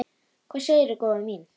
Hvað segirðu góða mín?